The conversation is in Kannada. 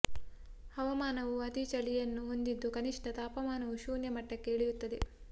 ಹವಾಮಾನವು ಅತೀ ಚಳಿಯನ್ನು ಹೊಂದಿದ್ದು ಕನಿಷ್ಠ ತಾಪಮಾನವು ಶೂನ್ಯ ಮಟ್ಟಕ್ಕೆ ಇಳಿಯುತ್ತದೆ